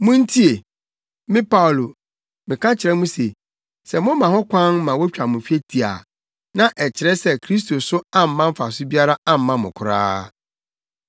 Muntie! Me Paulo, meka kyerɛ mo se, sɛ moma ho kwan ma wotwa mo twetia a, na ɛkyerɛ sɛ Kristo so amma mfaso biara amma mo koraa.